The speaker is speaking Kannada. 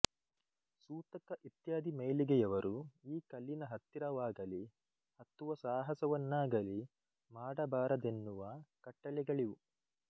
ಸೂತಕ ಇತ್ಯಾದಿ ಮೈಲಿಗೆಯವರು ಈ ಕಲ್ಲಿನ ಹತ್ತಿರವಾಗಲೀ ಹತ್ತುವ ಸಾಹಸವನ್ನಾಗಲೀ ಮಾಡಬಾರದೆನ್ನುವ ಕಟ್ಟಳೆಗಳಿವೆ